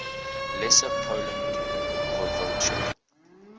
lesser poland voivodeship